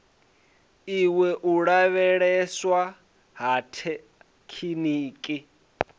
iwa u lavheieswa ha rathekiniki